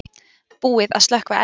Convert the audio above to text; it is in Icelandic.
Búið að slökkva eld